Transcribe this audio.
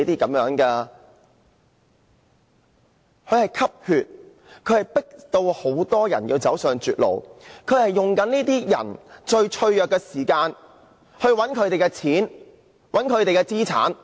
它們迫使很多人走上絕路，在這些人最脆弱時，騙取他們的金錢和資產。